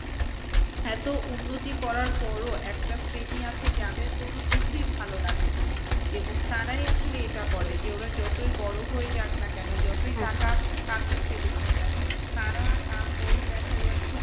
এত উন্নতি করার পরও একটা শ্রেণী আছে যাদের কোনো কিছুই ভালোলাগে না। এবং তারাই আসলে এটা করে যে ওরা যতই বড়ো হয়ে যাক না কেন যতই টাকা কামিয়ে ফেলুক না কেন তারা তারপরও দেখা যাচ্ছে